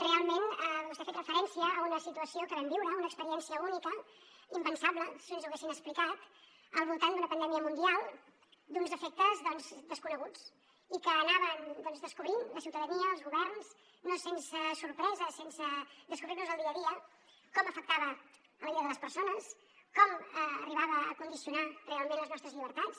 realment vostè ha fet referència a una situació que vam viure una experiència única impensable si ens ho haguessin explicat al voltant d’una pandèmia mundial d’uns efectes desconeguts i que anàvem descobrint la ciutadania els governs no sense sorpresa sense descobrir nos el dia a dia com afectava la vida de les persones com arribava a condicionar realment les nostres llibertats